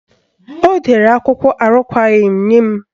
Ọ dere akwụkwọ arụkwaghị nye m.